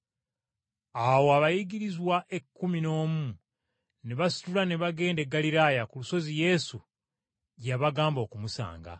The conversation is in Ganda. Awo abayigirizwa ekkumi n’omu ne basitula ne bagenda e Ggaliraaya ku lusozi Yesu gye yabagamba okumusanga.